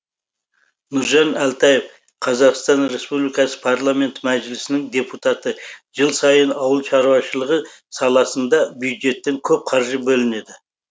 нұржан әлтаев қазақстан республикасы парламенті мәжілісінің депутаты жыл сайын ауыл шаруашылығы саласында бюджеттен көп қаржы бөлінеді